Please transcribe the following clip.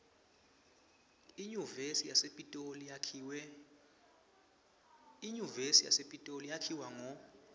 inyuvesi yasepitoli yakhiwa ngo